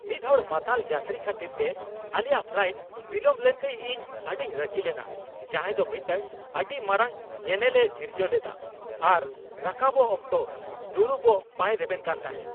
ᱢᱤᱫᱦᱚᱲ ᱢᱟᱛᱟᱞ ᱡᱟᱛᱨᱤ ᱠᱷᱟᱹᱛᱤᱨᱛᱮ ᱟᱞᱮᱭᱟᱜ ᱯᱷᱟᱞᱟᱭᱤᱴ ᱵᱤᱞᱚᱢ ᱞᱮᱱᱛᱮ ᱤᱧ ᱟᱹᱰᱤᱧ ᱨᱟᱹᱜᱤ ᱞᱮᱱᱟ ᱡᱟᱦᱟᱸᱭ ᱫᱚ ᱢᱤᱫᱴᱟᱝ ᱟᱹᱰᱤ ᱢᱟᱨᱟᱝ ᱧᱮᱱᱮᱞᱮ ᱥᱤᱨᱡᱟᱹᱣ ᱞᱮᱫᱟ ᱟᱨ ᱨᱟᱠᱟᱵᱚᱜ ᱚᱠᱛᱚ ᱫᱩᱲᱩᱵᱚᱜ ᱵᱟᱭ ᱨᱮᱵᱮᱱ ᱠᱟᱱ ᱛᱟᱦᱮᱸ ᱾